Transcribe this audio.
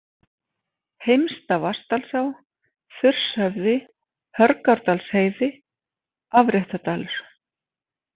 Heimsta-Vatnadalsá, Þurshöfði, Hörgárdalsheiði, Afréttardalur